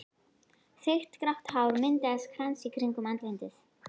Þykkt grátt hár myndaði krans í kringum andlitið.